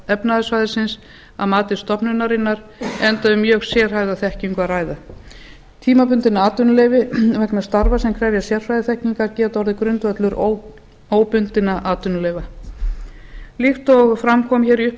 efnahagssvæðisins að mati stofnunarinnar enda um mjög sérhæfða þekkingu að æða tímabundið atvinnuleyfi vegna starfa sem krefjast sérfræðiþekkingar geta orðið grundvöllur óbundinna atvinnuleyfa líkt og fram kom í